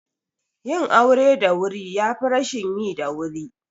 Yin aure da wuri yafi rashin yi da wuri